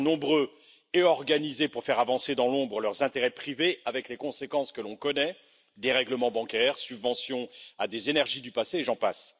Ils sont nombreux et organisés pour faire avancer dans l'ombre leurs intérêts privés, avec les conséquences que l'on connaît dérèglements bancaires, subventions à des énergies du passé, et j'en passe.